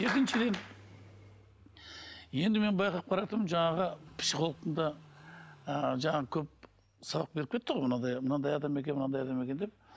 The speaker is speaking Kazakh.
екіншіден енді мен байқап қарап тұрмын жаңағы психологтың да ы жаңағы көп сабақ беріп кетті ғой мынандай мынандай адам екен мынандай адам екен деп